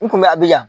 N kun bɛ abijan